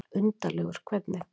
Undarlegur hvernig?